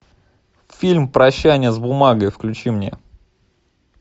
фильм прощание с бумагой включи мне